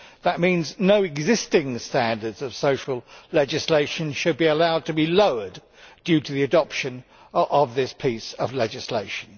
That means no existing standards of social legislation should be allowed to be lowered due to the adoption of this piece of legislation.